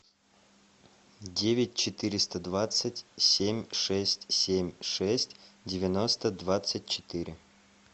девять четыреста двадцать семь шесть семь шесть девяносто двадцать четыре